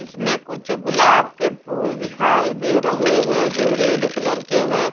इसमें कुछ गुलाब के फूल दिखाई दे रहे हैं जो रेड कलर के हैं।